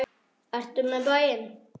Ertu með í bæinn?